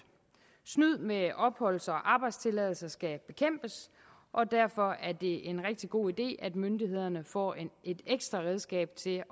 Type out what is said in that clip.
snyd med opholds og arbejdstilladelser skal bekæmpes og derfor er det en rigtig god idé at myndighederne får et ekstra redskab til